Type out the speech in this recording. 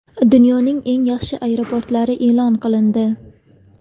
Dunyoning eng yaxshi aeroportlari e’lon qilindi.